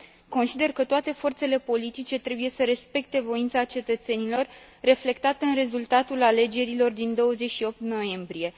Consider că toate forțele politice trebuie să respecte voința cetățenilor, reflectată în rezultatul alegerilor din 28 noiembrie.